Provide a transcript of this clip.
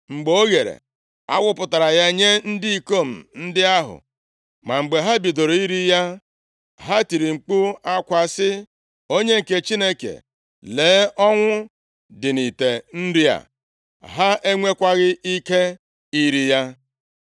Mgbe o ghere, a wụpụtara ya nye ndị ikom ndị ahụ. Ma mgbe ha bidoro iri ya, ha tiri mkpu akwa sị, “Onye nke Chineke, lee, ọnwụ dị nʼite nri a.” Ha enwekwaghị ike iri ya.